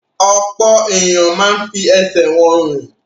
Ọ̀pọ̀ ènìyàn máa ń fi ẹsẹ̀ wọn rìn.